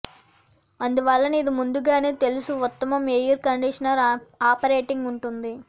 అందువలన ఇది ముందుగానే తెలుసు ఉత్తమం ఎయిర్ కండీషనర్ ఆపరేటింగ్ ఉంటుంది